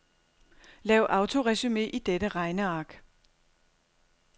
Lav autoresumé i dette regneark.